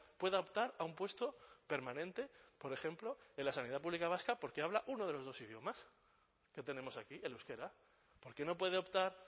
pueda optar a un puesto permanente por ejemplo en la sanidad pública vasca porque habla uno de los dos idiomas que tenemos aquí el euskera por qué no puede optar